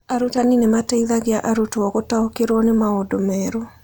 Arutani nĩ mateithagia arutwo gũtaũkĩrũo nĩ maũndũ merũ.